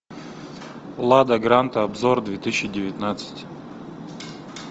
лада гранта обзор две тысячи девятнадцать